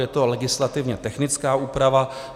Je to legislativně technická úprava.